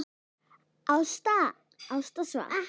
Ásta svaf.